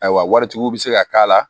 Ayiwa waritigiw bɛ se ka k'a la